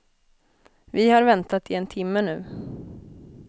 Vi har väntat i en timme nu.